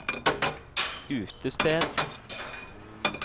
utested